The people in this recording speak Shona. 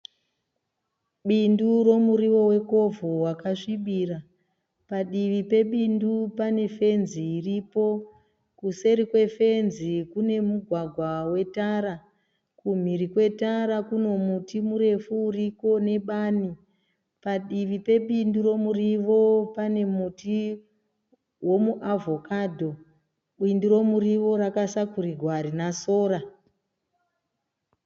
Bindu romuriwo wekovho wakasvibira. Padivi pebindu panefenzi iripo. Kuseri kwefenzi kunemugwagwa wetara. Kumhiri kwetara kunomuti murefu uriko nebani. Padivi pebindu romurivo panemuti womuavhokadho. Bindu romurivo rakasakurirwa harina sora.